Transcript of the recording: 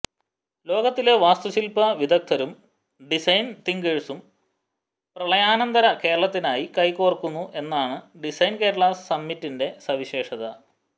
ലോകത്തിലെ വാസ്തുശില്പ വിദഗ്ദരും ഡിസൈൻ തിങ്കേഴ്സും പ്രളയാനന്തര കേരളത്തിനായി കൈകോർക്കുന്നു എന്നതാണ് ഡിസൈൻ കേരളാ സമ്മിറ്റിന്റെ സവിശേഷത